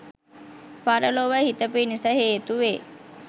පරලොව හිත පිණිස හේතු වේ